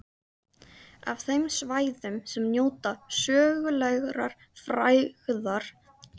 Af þeim svæðum sem njóta sögulegrar frægðar er